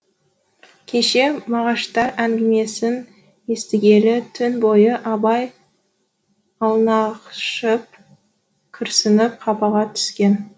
кеше мағаштар әңгімесін естігелі түн бойы абай аунақшып күрсініп қапаға түскен